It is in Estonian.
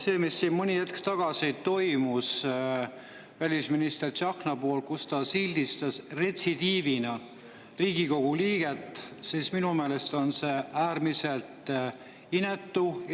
See, mis siin mõni hetk tagasi toimus, kui välisminister Tsahkna sildistas Riigikogu liiget ja retsidiivsusest, on minu meelest äärmiselt inetu.